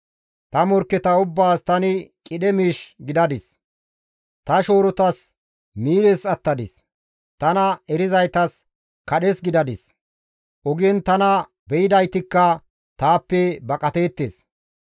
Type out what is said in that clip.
Ta morkketa ubbaas tani qidhe miish gidadis; ta shoorotas miires attadis; tana erizaytas kadhes gidadis; ogen tana be7idaytikka taappe baqateettes.